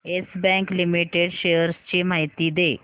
yes Bank Limited shares ची माहिती दे